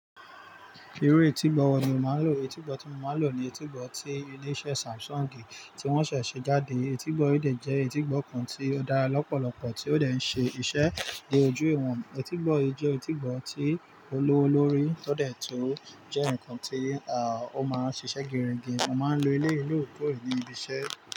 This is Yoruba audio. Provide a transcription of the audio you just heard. Irú etígbọ wọ̀ ni o máa ń lò? Etígbọ tí mọ̀ máa ń lò ni etígbọ tí ilé iṣẹ́ Samsung tí wọ́n ṣẹ̀ ṣe jáde. Etígbọ yìí dẹ̀ jẹ́ etígbọ kan tí ó dára lọ́pọ̀lọpọ̀ tí ó dẹ̀ ń ṣe isé dé ojú ìwọ̀n. Etígbọ yìí jẹ́ etígbọ tí ó lówó lórí, ó dẹ̀ tun jẹ́ nǹkan tí ó máa ń ṣiṣẹ́ geerege. Mo máa ń lo eléyi lóòrèkóòrè ní ibi iṣẹ́.